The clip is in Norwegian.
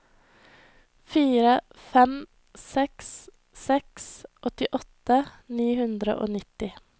fire fem seks seks åttiåtte ni hundre og nitti